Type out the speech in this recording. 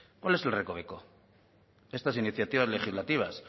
cuál es el recoveco estas iniciativas legislativas